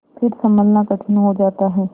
फिर सँभलना कठिन हो जाता है